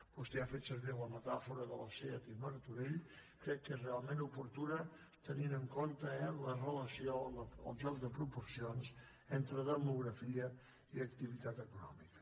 vostè ha fet servir la metàfora de la seat i martorell crec que és realment oportuna tenint en compte la relació el joc de proporcions entre demografia i activitat econòmica